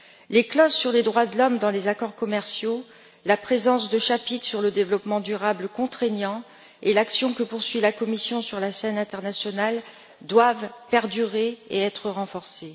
Les clauses sur les droits de l'homme dans les accords commerciaux, la présence de chapitres sur le développement durable contraignants et l'action que poursuit la Commission sur la scène internationale doivent perdurer et être renforcées.